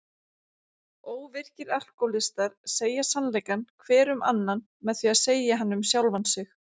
Óvirkir alkóhólistar segja sannleikann hver um annan með því að segja hann um sjálfan sig.